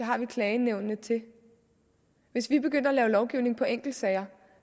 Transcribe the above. har vi klagenævnene til hvis vi begyndte at lave lovgivning på enkeltsager